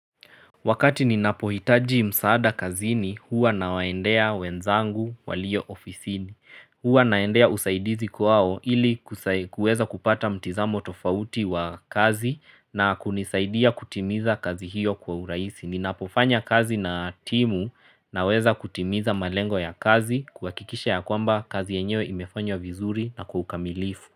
Wakati ninapohitaji msaada kazini huwa na waendea wenzangu walio ofisini. Huwa naendea usaidizi kwao ili kueza kupata mtizamo tofauti wa kazi na kunisaidia kutimiza kazi hiyo kwa uraisi. Ninapofanya kazi na timu naweza kutimiza malengo ya kazi kuhakikisha ya kwamba kazi yenyewe imefanywa vizuri na kwa ukamilifu.